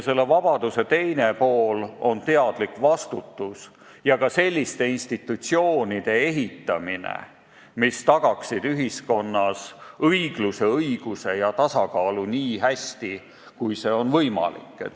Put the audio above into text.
Selle vabaduse teine pool on teadlik vastutus ja ka selliste institutsioonide ehitamine, mis peavad tagama ühiskonnas õigluse, õiguse ja tasakaalu nii hästi, kui see on võimalik.